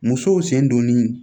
Musow sen donni